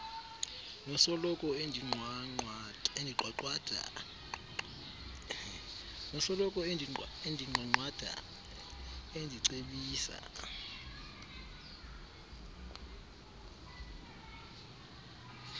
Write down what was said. nosoloko endinqwanqwada endicebisa